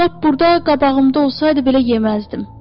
Lap burda qabağımda olsaydı belə yeməzdim.